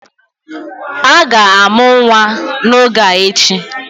A ga-amụ nwa n'oge a echi